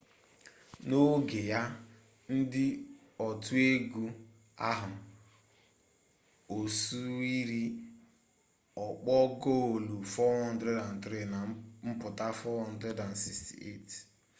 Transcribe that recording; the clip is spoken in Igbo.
na oge ya na ndi otu egu ahu osuiri okpo goolu 403 na mputa 468